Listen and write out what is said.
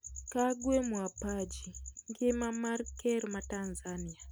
Kagwe Mwapaji : Ngima mar Ker ma Tanzania.